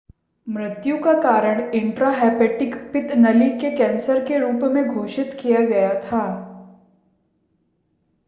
मृत्यु का कारण इंट्राहेपेटिक पित्त नली के कैंसर के रूप में घोषित किया गया था